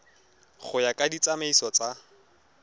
go ya ka ditsamaiso tsa